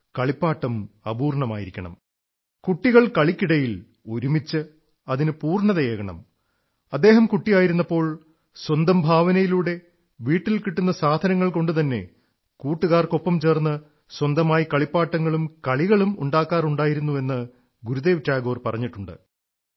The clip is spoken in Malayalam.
കളിപ്പാട്ടം അപൂർണ്ണമായിരിക്കണം കുട്ടികൾ കളിക്കിടയിൽ ഒരുമിച്ച് അതിന് പൂർണ്ണതയേകണം അദ്ദേഹം കുട്ടിയായിരുന്നപ്പോൾ സ്വന്തം ഭാവനയിലൂടെ വീട്ടിൽ കിട്ടുന്ന സാധനങ്ങൾകൊണ്ടുതന്നെ കൂട്ടുകാർക്കൊപ്പം ചേർന്ന് സ്വന്തമായി കളിപ്പാട്ടങ്ങളും കളികളും ഉണ്ടാക്കാറുണ്ടായിരുന്നു എന്ന് ഗുരുദേവ് ടാഗോർ പറഞ്ഞിട്ടുണ്ട്